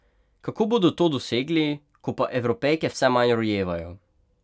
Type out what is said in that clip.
Kako bodo to dosegli, ko pa Evropejke vse manj rojevajo?